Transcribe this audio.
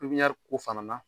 Pipɲari ko fana la